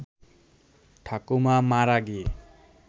ঠাকুমা মারা গিয়ে